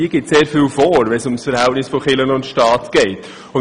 Sie gibt sehr vieles vor, was das Verhältnis von Kirche und Staat betrifft.